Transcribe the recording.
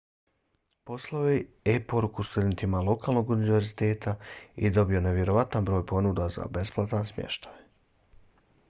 poslao je e-poruku studentima lokalnog univerziteta i dobio nevjerojatan broj ponuda za besplatan smještaj